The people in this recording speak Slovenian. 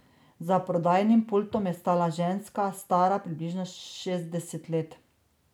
Za prodajnim pultom je stala ženska, stara približno šestdeset let.